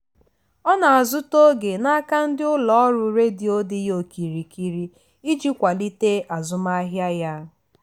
ọ na-azụta oge n'aka ndị ụlọ ọrụ redio dị ya okirikiri iji kwalite azụmahịa ya.